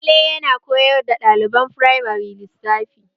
Wale yana koyar da ɗaliban firamare lissafi